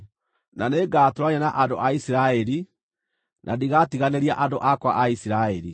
Na nĩngatũũrania na andũ a Isiraeli, na ndigatiganĩria andũ akwa a Isiraeli.”